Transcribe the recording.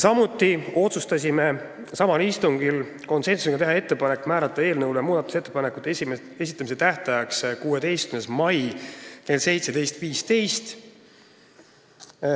Samuti otsustasime samal istungil konsensusega teha ettepaneku määrata eelnõu muudatusettepanekute esitamise tähtajaks 16. mai kell 17.15.